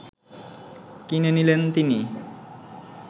কিনে নিলেন তিনি